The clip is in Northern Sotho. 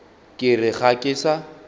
ke re ga ke sa